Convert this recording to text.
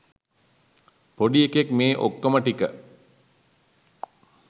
පොඩි එකෙක් මේ ඔක්කෝම ටික